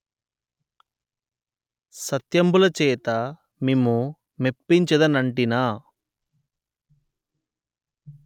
సత్యంబులచేత మిము మెప్పించెదనంటినా